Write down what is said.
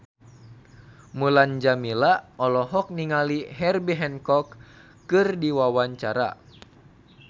Mulan Jameela olohok ningali Herbie Hancock keur diwawancara